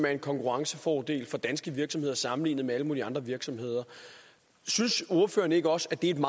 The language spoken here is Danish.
er en konkurrencefordel for danske virksomheder sammenlignet med alle mulige andre virksomheder synes ordføreren ikke også at det er en